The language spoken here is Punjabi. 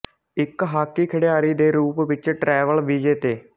ਇੱਕ ਹਾਕੀ ਖਿਡਾਰੀ ਦੇ ਰੂਪ ਵਿੱਚ ਟਰੈਵਲ ਵੀਜ਼ੇ ਤੇ